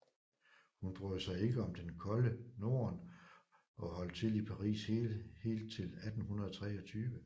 Hun brød sig ikke om det kolde Norden og holdt til i Paris helt til 1823